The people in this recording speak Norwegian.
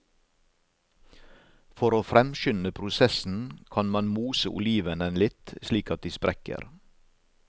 For å fremskynde prosessen kan man mose olivenen litt, slik at de sprekker.